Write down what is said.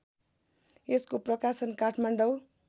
यसको प्रकाशन काठमाडौँ